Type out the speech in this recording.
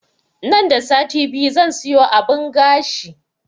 Nan da sati biyu zan siyo abun gashi